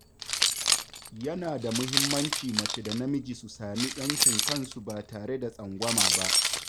Yana da muhimmanci mace da namiji su sami ‘yancin kansu ba tare da tsangwama ba.